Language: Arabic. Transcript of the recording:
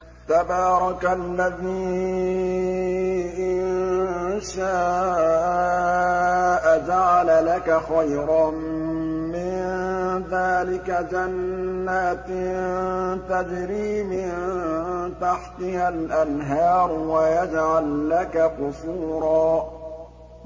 تَبَارَكَ الَّذِي إِن شَاءَ جَعَلَ لَكَ خَيْرًا مِّن ذَٰلِكَ جَنَّاتٍ تَجْرِي مِن تَحْتِهَا الْأَنْهَارُ وَيَجْعَل لَّكَ قُصُورًا